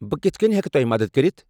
بہٕ کِتھ کٔنۍ ہیکہِ تۄہہِ مدد کٔرِتھ؟